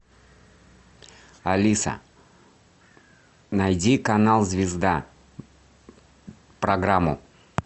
алиса найди канал звезда программу